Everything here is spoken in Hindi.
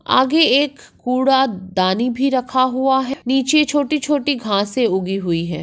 आगे एक कुड़ा दानी भी रखा हुआ है नीचे छोटी-छोटी घासे उगी हुई है।